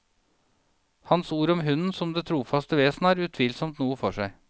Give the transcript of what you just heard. Hans ord om hunden som det trofaste vesen har utvilsomt noe for seg.